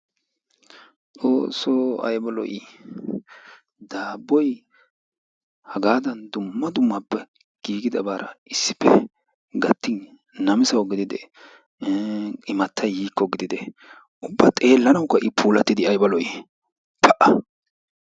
xoossoo aybba lo"ii? daabboy hagaadan dumma dummaba giigidabara issippe gattin namissawu gididee ih imatay yikko ubba xeelanawukka i puulatidi aybba lo"ii pa!